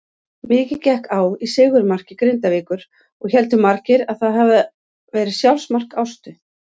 Mikið gekk á í sigurmarki Grindavíkur og héldu margir að það hafiði verið sjálfsmark Ástu.